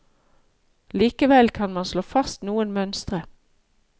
Likevel kan man slå fast noen mønstre.